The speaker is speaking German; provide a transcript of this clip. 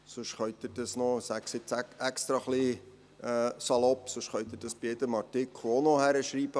Sonst könnten Sie sie – ich sage es extra etwas salopp – auch gleich in jeden Artikel schreiben.